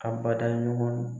Abada ɲɔgɔn